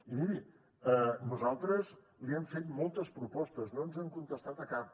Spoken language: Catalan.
i miri nosaltres li hem fet moltes propostes no ens han contestat a cap